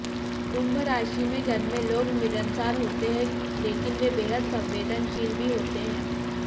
कुंभ राशि में जन्मे लोग मिलनसार होते हैं लेकिन वे बेहद संवेदनशील भी होते हैं